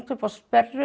upp á sperru